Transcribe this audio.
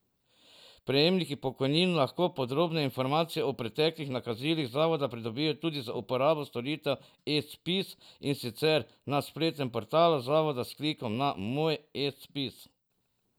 Prejemniki pokojnin lahko podrobnejše informacije o preteklih nakazilih zavoda pridobijo tudi z uporabo storitev eZPIZ, in sicer na spletnem portalu zavoda s klikom na Moj eZPIZ.